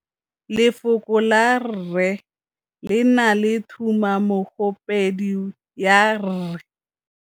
Lefoko la rre, le na le tumammogôpedi ya, r.